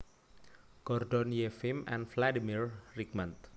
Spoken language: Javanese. Gordon Yefim and Vladimir Rigmant